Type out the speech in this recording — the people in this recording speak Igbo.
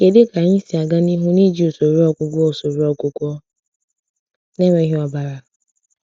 Kedu ka anyị si aga n’ihu n’iji usoro ọgwụgwọ usoro ọgwụgwọ na-enweghị ọbara?